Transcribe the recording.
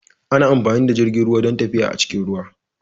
Ana amfani da jirgin ruwa don tafiya a cikin ruwa.